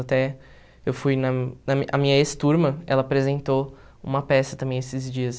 Até eu fui na... A minha ex-turma, ela apresentou uma peça também esses dias.